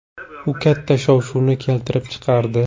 U katta shov-shuvni keltirib chiqardi.